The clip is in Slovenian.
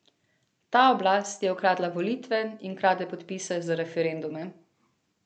Ta oblast je ukradla volitve in krade podpise za referendume.